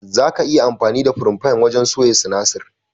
Zaka iya amfani da firayin fan wajen soya sinasir.